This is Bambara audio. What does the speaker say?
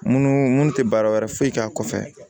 Mun mun tɛ baara wɛrɛ foyi k'a kɔfɛ